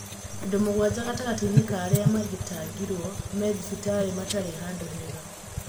Andũmũgwanja gatagatĩinĩ ka arĩa matihangirĩo me thibitarĩ matarĩ handũhega.